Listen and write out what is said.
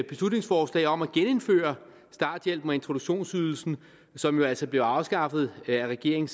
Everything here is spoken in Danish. beslutningsforslag om at genindføre starthjælpen og introduktionsydelsen som jo altså blev afskaffet af regeringen